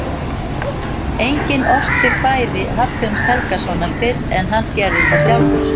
Enginn orti kvæði Hallgríms Helgasonar fyrr en hann gerði það sjálfur.